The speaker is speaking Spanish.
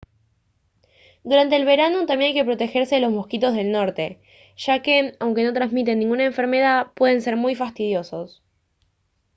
durante el verano también hay que protegerse de los mosquitos del norte ya que aunque no transmiten ninguna enfermedad pueden ser muy fastidiosos